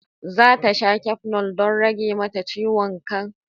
Zata sha cafenol don rage mata ciwon kai.